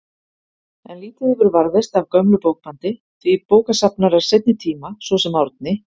En lítið hefur varðveist af gömlu bókbandi, því að bókasafnarar seinni tíma, svo sem Árni